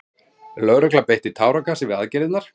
Lögregla beitti táragasi við aðgerðirnar